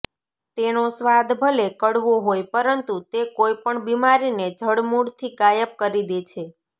તેનો સ્વાદ ભલે કડવો હોય પરંતુ તે કોઇપણ બિમારીને જડમૂળથી ગાયબ કરી દે છે